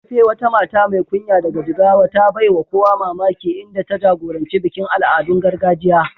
Tope, wata mata mai kunya daga Jigawa, ta baiwa kowa mamaki inda ta jagoranci bikin al'adun gargajiya.